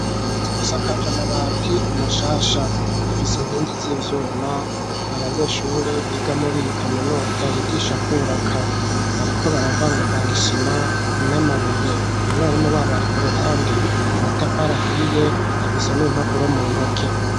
Zisakaje amabati mashasha Rifise inkingi z'ivyuma abanyeshure biga muri iyi kaminuza yigisha kubaka bariko baravangavanga isima n'amabuye umwarimu wabo ari ku ruhande amatafarI ahiye afise n'impapuro mu ntoke.